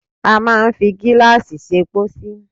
A máa ń fi gíláàsì ṣe pósí.